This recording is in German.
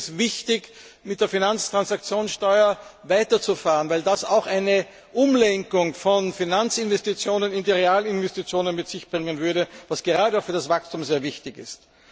Ich finde es wichtig, mit der Finanztransaktionssteuer weiterzufahren, weil das auch eine Umlenkung von Finanzinvestitionen in die Realinvestitionen mit sich bringen würde, was gerade für das Wachstum sehr wichtig ist.